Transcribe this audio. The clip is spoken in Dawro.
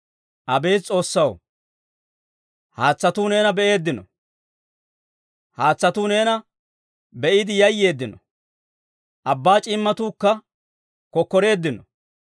Abeet S'oossaw, haatsatuu neena be'eeddino; haatsatuu neena be'iide yayyeeddino. Abbaa c'iimmatuukka kokkoreeddino.